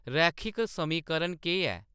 रैखिक समीकरण केह्‌‌ ऐ